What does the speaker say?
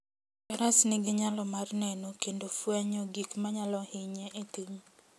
Faras nigi nyalo mar neno kendo fwenyo gik manyalo hinye e thim.